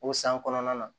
O san kɔnɔna na